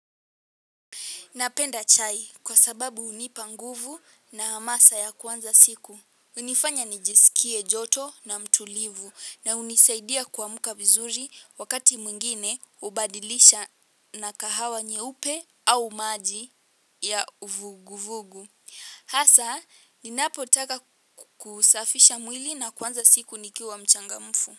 Napenda chai kwa sababu hunipa nguvu na hamasa ya kuanza siku. Hunifanya nijisikie joto na mtulivu na hunisaidia kuamka vizuri wakati mwingine hubadilisha na kahawa nyeupe au maji ya uvuguvugu. Hasa, ninapotaka kusafisha mwili na kuanza siku nikiwa mchangamfu.